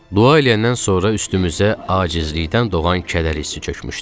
Dua eləyəndən sonra üstümüzə acizlikdən doğan kədər hissi çökmüşdü.